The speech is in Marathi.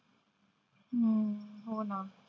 हम्म हो ना.